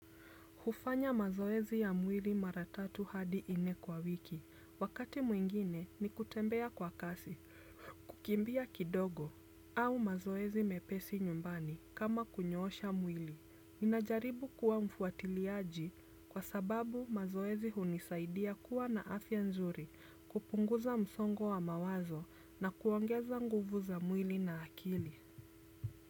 Hufanya mazoezi ya mwili mara tatu hadi nne kwa wiki, wakati mwingine ni kutembea kwa kasi, kukimbia kidogo, au mazoezi mepesi nyumbani kama kunyoosha mwili. Ninajaribu kuwa mfuatiliaji kwa sababu mazoezi hunisaidia kuwa na afya nzuri kupunguza msongo wa mawazo na kuongeza nguvu za mwili na akili.